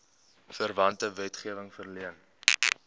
verwante wetgewing verleen